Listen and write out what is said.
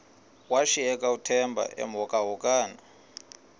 washiyeka uthemba emhokamhokana